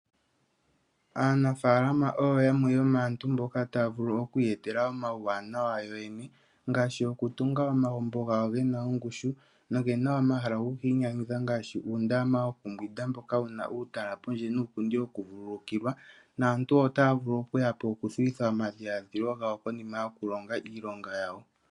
Aanafaalama oyo yamwe yomaantu mboka taya vulu oku iyetela omauwanawa yoyene ngaashi okutunga omagumbo gawo ge na ongushu noge na wo omahala goku inyanyudha ngaashi uundama wokumbwinda mboka wu na uutala pondje nosho wo uupundi wokuvululukilwa naantu otaya vulu okuya po okuthuwitha omadhiladhilo gawo konima yokulonga iilonga yawo.